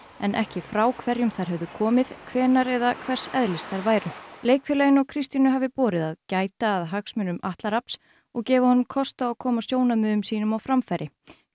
en ekki frá hverjum þær hefðu komið hvenær eða hvers eðlis þær væru leikfélaginu og Kristínu hafi borið að gæta að hagsmunum Atla Rafns og gefa honum kost á að koma sjónarmiðum sínum á framfæri